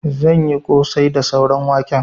Zan yi ƙosai da sauran waken.